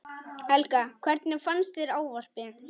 Helga: Hvernig fannst þér ávarpið?